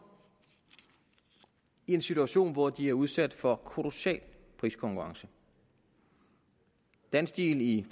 i en situation hvor de er udsat for kolossal priskonkurrence dansteel i